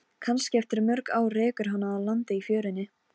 Ég trúi því kannski að bílar muni fljúga.